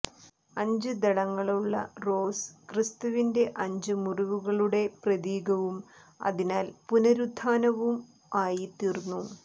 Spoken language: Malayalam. അഞ്ച് ദളങ്ങളുള്ള റോസ് ക്രിസ്തുവിന്റെ അഞ്ച് മുറിവുകളുടെ പ്രതീകവും അതിനാൽ പുനരുത്ഥാനവും ആയി തീർന്നു